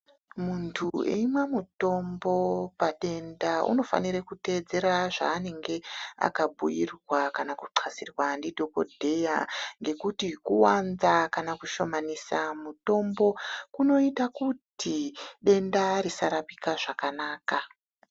Munthu weimwa mutombo padenda unofanire kuteedzera zvaanenge akabhuyirwa kana kuxhasirwa ndidhokodheya, ngekuti kuwanda kana kushomanisa mutombo kunoita kuti denda risarapika zvakanaka.